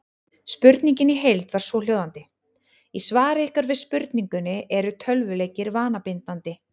Spurningin í heild var svohljóðandi: Í svari ykkar við spurningunni Eru tölvuleikir vanabindandi?